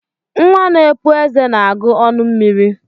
Nwa n'epụ eze na-agu ọnụ mmiri.